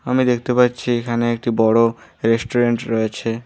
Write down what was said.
আমি দেখতে পাচ্ছি এখানে একটি বড়ো রেস্টুরেন্ট রয়েছে।